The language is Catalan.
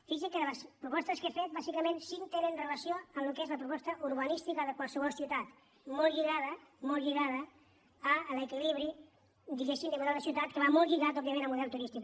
fixi’s que de les propostes que he fet bàsicament cinc tenen relació amb el que és la proposta urbanística de qualsevol ciutat molt lligada molt lligada a l’equilibri diguem ne de model de ciutat que va molt lligat òbviament al model turístic